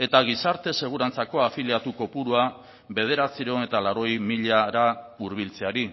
eta gizarte segurantzako afiliatu kopurua bederatziehun eta laurogei milara hurbiltzeari